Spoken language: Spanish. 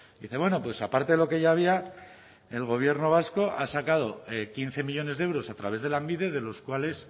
dice bueno pues aparte de lo que ya había el gobierno vasco ha sacado quince millónes de euros a través de lanbide de los cuales